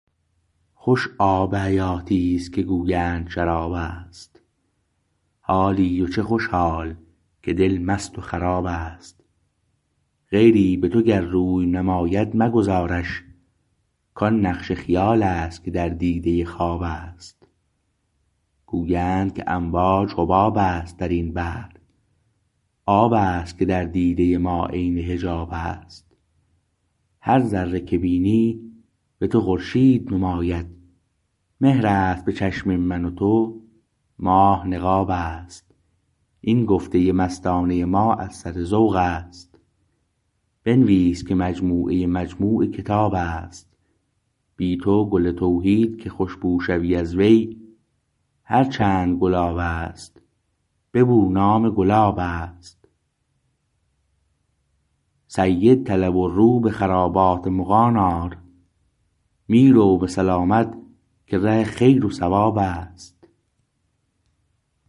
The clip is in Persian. خوش آب حیاتیست که گویند شرابست حالی و چه خوش حال که دل مست و خرابست غیری به تو گر روی نماید مگذارش کان نقش خیالست که در دیده خوابست گویند که امواج حبابست درین بحر آبست که در دیده ما عین حجابست هر ذره که بینی به تو خورشید نماید مهر است به چشم من و تو ماه نقابست این گفته مستانه ما از سر ذوقست بنویس که مجموعه مجموع کتابست بی تو گل توحید که خوشبو شوی از وی هر چند گلابست ببو نام گلابست سید طلب و رو به خرابات مغان آر می رو به سلامت که ره خیر و صوابست